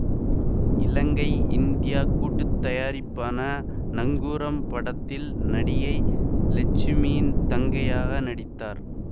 இலங்கை India கூட்டுத்தயாரிப்பான நங்கூரம் படத்தில் நடிகை லட்சுமியின் தங்கையாக நடித்தார்